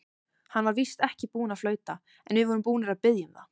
Hann var víst ekki búinn að flauta, en við vorum búnir að biðja um það.